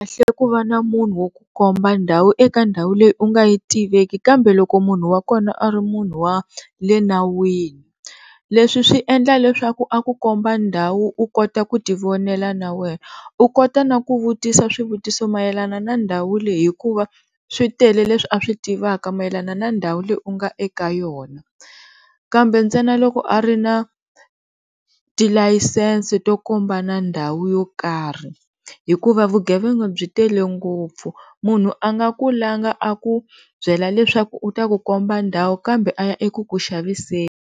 Swikahle ku va na munhu wo ku komba ndhawu eka ndhawu leyi u nga yi tiveki kambe loko munhu wa kona a ri munhu wa le nawini, leswi swi endla leswaku a ku komba ndhawu u kota ku tivonela na wena u kota na ku vutisa swivutiso mayelana na ndhawu leyi hikuva switele leswi a swi tivaka mayelana na ndhawu leyi u nga eka yona, kambe ntsena loko a ri na tilayisense to kombana ndhawu yo karhi, hikuva vugevenga byi tele ngopfu munhu a nga ku langha a ku byela leswaku u ta ku komba ndhawu kambe a ya eku ku xaviseni.